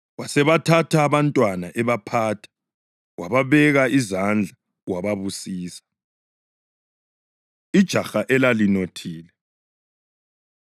Wasebathatha abantwana ebaphatha, wababeka izandla wababusisa. Ijaha Elalinothile